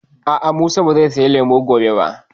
A'a, Musa ba zai saya lemu gobe ba